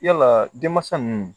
Yala denmansa ninnu